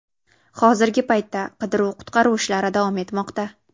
Hozirgi paytda qidiruv-qutqaruv ishlari davom etmoqda.